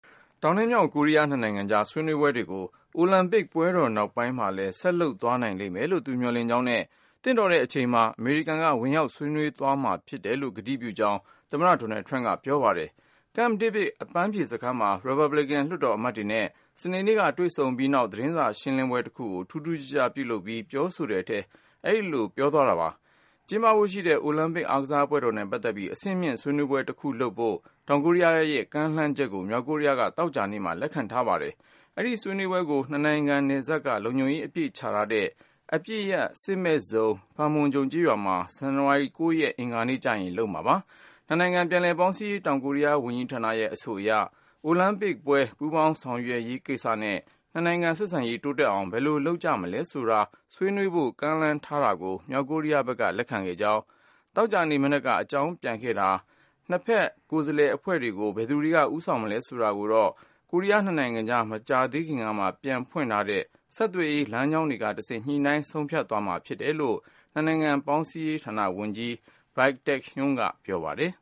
တောင်နဲ့မြောက် ကိုရီးယားနှစ်နိုင်ငံကြား ဆွေးနွေးပွဲတွေကို အိုလံပစ်ပွဲတော်နောက်ပိုင်း မှာလဲ ဆက်လုပ်သွားနိုင်လိမ့်မယ်လို့ သူမျှော်လင့်ကြောင်းနဲ့ သင့်တော်တဲ့အချိန်မှာ အမေရိကန်က ဝင်ရောက်ဆွေးနွေးသွားမယ်လို့ ကတိပြုကြောင်း သမ္မတ ဒေါ်နယ်လ်ဒ် ထရမ့်ပ်က ပြောပါတယ်။ Camp David အပန်းဖြေစခန်းမှာ ရီပတ်ဘလီကန် လွှတ်တော်အမတ်တွေနဲ့ စနေနေ့က တွေ့ဆုံပြီးတဲ့နောက် သတင်းစာရှင်းလင်းပွဲတခုကို ထူးထူးခြားခြားလုပ်ပြီး ပြောဆိုတဲ့ထဲ အဲဒီလိုပြောသွားတာပါ။ ကျင်းပဖို့ရှိတဲ့ အိုလံပစ်အားကစားပွဲတော်နဲ့ပတ်သက်ပြီး အဆင့်မြင့်ဆွေးနွေးပွဲတခုလုပ်ဖို့ တောင်ကိုရီးယားက ကမ်းလှမ်းတာကို မြောက်ကိုရီးယားက သောကြာနေ့မှာ လက်ခံထားပါတယ်။ အဲဒီဆွေးနွေးပွဲကို နှစ်နိုင်ငံနယ်စပ်က လုံခြုံရေးအပြည့်ချထားတဲ့ အပစ်ရပ် စစ်မဲ့ဇုံ Panmunjom ကျေးရွာမှာ ဇန်နဝါရီလ ၉ ရက်၊ အင်္ဂါနေ့ကျရင် လုပ်မှာပါ။ နှစ်နိုင်ငံ ပြန်လည်ပေါင်းစည်းရေး တောင်ကိုရီးယားဝန်ကြီးဌာနရဲ့ အဆိုအရ အိုလံပစ်ပွဲ ပူးပေါင်းဆောင်ရွက်ရေးကိစ္စနဲ့ နှစ်နိုင်ငံ ဆက်ဆံရေး တိုးတက်အောင် ဘယ်လိုလုပ်ကြ မလဲဆိုတာ ဆွေးနွေးဖို့ကမ်းလှမ်းတာကို မြောက်ကိုရီးယားဘက်က လက်ခံကြောင်းသောကြာနေ့မနက်က အကြောင်းပြန်ခဲ့တာပါ။ နှစ်ဘက်ကိုယ်စားလှယ်အဖွဲ့တွေကို ဘယ်သူတွေက ဦးဆောင်မလဲဆိုတာကိုတော့ ကိုရီးယားနှစ်နိုင်ငံကြား မကြာသေးခင်ကမှ ပြန်ဖွင့်ထားတဲ့ ဆက်သွယ်ရေး လမ်းကြောင်းတွေကတဆင့် ညှိနှိုင်း ဆုံးဖြတ်သွားမှာဖြစ်တယ်လို့ နှစ်နိုင်ငံပြန်လည်ပေါင်းစည်းရေး ဝန်ကြီးဌာနပြောခွင့်ရ Baik Tae-hyun ကပြောပါတယ်